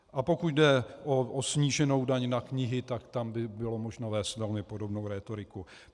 A pokud jde o sníženou daň na knihy, tak tam by bylo možno vést velmi podobnou rétoriku.